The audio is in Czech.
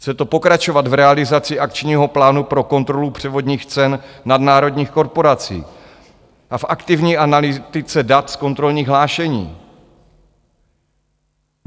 Chce to pokračovat v realizaci akčního plánu pro kontrolu převodních cen nadnárodních korporací a v aktivní analytice dat z kontrolních hlášení.